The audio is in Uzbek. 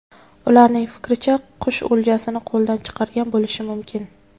Ularning fikricha, qush o‘ljasini qo‘ldan chiqargan bo‘lishi mumkin.